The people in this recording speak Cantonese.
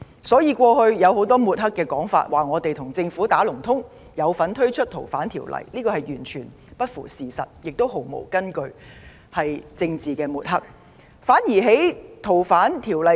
所以，過去眾多抹黑說法，指控我們跟政府"打龍通"，有份推動《條例草案》，其實完全不符事實，毫無根據，屬政治抹黑。